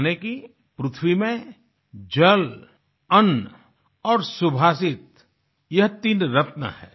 यानि कि पृथ्वी में जल अन्न और सुभाषित यह तीन रत्न है